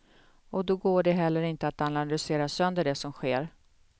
Och då går det heller inte att analysera sönder det som sker.